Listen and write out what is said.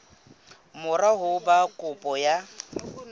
mora ho ba kopo ya